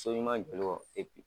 So ɲuman jɔli kɔ